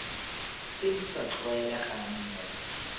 tse di sa tlwaelegang mo